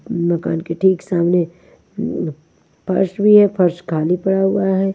मकान के ठीक सामने फर्श भी है फर्श खाली पड़ा हुआ है।